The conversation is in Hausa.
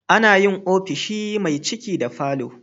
Ana yin ofishi me ciki da falo